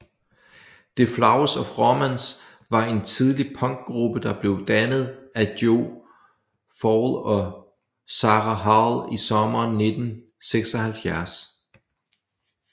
The Flowers of Romance var en tidlig punkgruppe der blev dannet af Jo Faull og Sarah Hall i sommeren 1976